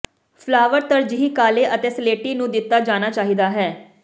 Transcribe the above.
flower ਤਰਜੀਹ ਕਾਲੇ ਅਤੇ ਸਲੇਟੀ ਨੂੰ ਦਿੱਤਾ ਜਾਣਾ ਚਾਹੀਦਾ ਹੈ